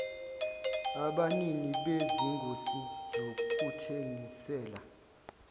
abanini bezingosi zokuthengisela